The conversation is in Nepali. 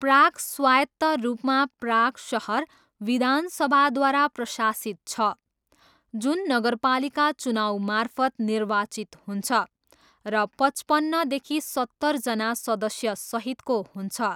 प्राग स्वायत्त रूपमा प्राग सहर विधानसभाद्वारा प्रशासित छ, जुन नगरपालिका चुनाउमार्फत निर्वाचित हुन्छ र पचपन्नदेखि सत्तरजना सदस्यसहितको हुन्छ।